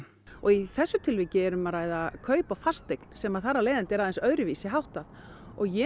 og í þessu tilviki er um að ræða kaup á fasteign sem þar af leiðandi er aðeins öðruvísi háttað og ég